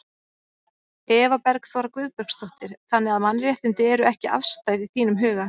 Eva Bergþóra Guðbergsdóttir: Þannig að mannréttindi eru ekki afstæð í þínum huga?